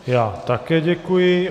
Já také děkuji.